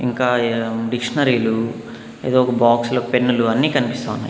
ఇంకా ఈడ డిక్షనరీ లు ఏదో ఒక బాక్స్ లో పెన్నులు అన్నీ కనిపిస్తా ఉన్నాయి.